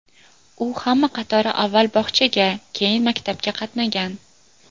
U hamma qatori avval bog‘chaga, keyin maktabga qatnagan.